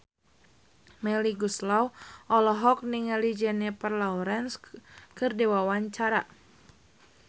Melly Goeslaw olohok ningali Jennifer Lawrence keur diwawancara